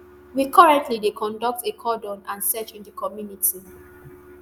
we currently dey conduct a cordon and search in di community